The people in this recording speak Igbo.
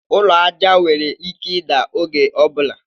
Ụlọ aja nwere ike ida oge ọbula